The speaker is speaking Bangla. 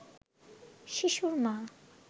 শিশুর মা